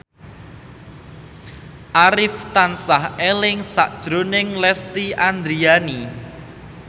Arif tansah eling sakjroning Lesti Andryani